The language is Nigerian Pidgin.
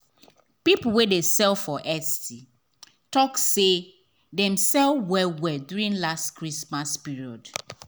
people wey dey sell for etsy talk say dem sell well well during last year christmas period.